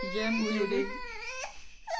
Jamen det er jo dét